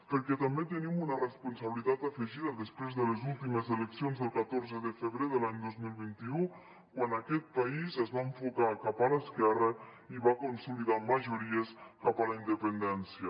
perquè també tenim una responsabilitat afegida després de les últimes eleccions del catorze de febrer de l’any dos mil vint u quan aquest país es va enfocar cap a l’esquerra i va consolidar majories cap a la independència